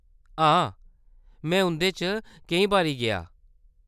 हां, में उंʼदे च केईं बारी गेआं।